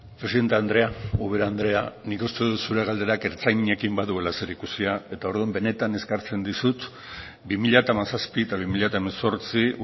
presidente andrea ubera andrea nik uste dut zure galderak ertzainekin baduela zerikusia eta orduan benetan eskertzen dizut bi mila hamazazpi eta bi mila hemezortzi